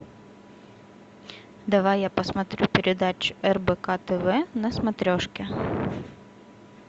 давай я посмотрю передачу рбк тв на смотрешке